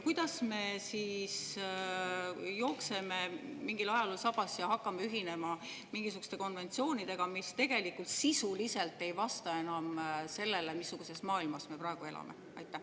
Kuidas me siis jookseme mingil ajalool sabas ja hakkame ühinema mingisuguste konventsioonidega, mis tegelikult sisuliselt ei vasta enam sellele, missuguses maailmas me praegu elame?